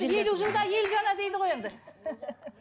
елу жылда ел жаңа дейді ғой енді